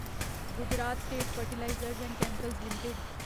Gujarat State Fertilizers and Chemicals limited